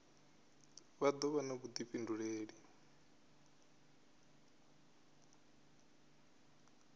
vha do vha na vhudifhinduleli